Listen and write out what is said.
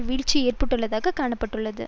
வீழ்ச்சி ஏற்பட்டுள்ளதாக கணக்கிட பட்டுள்ளது